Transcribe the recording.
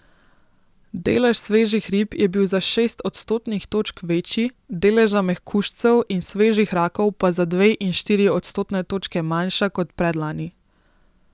Delež svežih rib je bil za šest odstotnih točk večji, deleža mehkužcev in svežih rakov pa za dve in štiri odstotne točke manjša kot predlani.